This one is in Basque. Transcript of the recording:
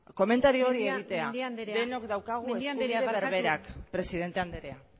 komentario hori bakarrik egitea da jarraitu dezagun